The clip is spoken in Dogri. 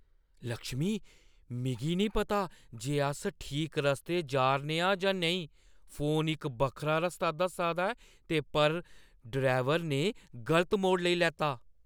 लक्ष्मी, मिगी नेईं पता जे अस ठीक रस्ते पर जा 'रने आं जां नेईं। फोन इक बक्खरा रस्ता दस्सा दा ऐ पर ड्राइवरै ने गलत मोड़ लेई लैता।